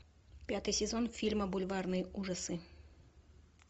пятый сезон фильма бульварные ужасы